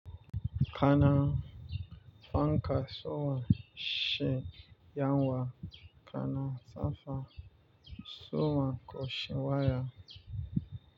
Kana fanka so wa shi yawwa kana sanka so wa ko shi waya.